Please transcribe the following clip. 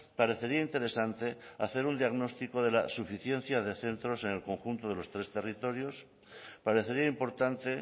parecería interesante hacer un diagnóstico de la suficiencia de centros en el conjunto de los tres territorios parecería importante